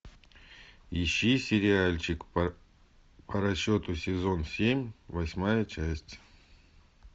ищи сериальчик по расчету сезон семь восьмая часть